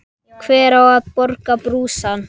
Hver á að borga brúsann?